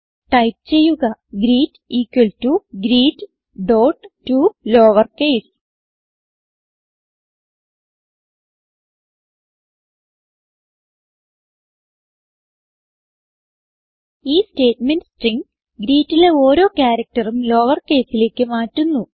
type ചെയ്യുക greet equal to greettoLowerCase ഈ statement string greetലെ ഓരോ ക്യാരക്ടർ ഉം lowercaseലേക്ക് മാറ്റുന്നു